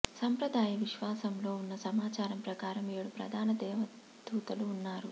సంప్రదాయ విశ్వాసంలో ఉన్న సమాచారం ప్రకారం ఏడు ప్రధాన దేవదూతలు ఉన్నారు